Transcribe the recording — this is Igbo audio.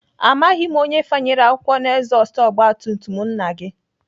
Amaghị m onye fanyere akwụkwọ n'ezọstụ ọgbatumtum nna gị